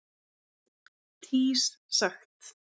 tís sagt